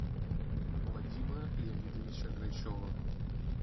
вадима леонидовича грачева